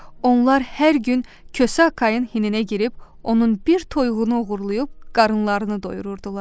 Onlar hər gün Kosa Akayın hinə girib, onun bir toyuğunu oğurlayıb, qarınlarını doyururdular.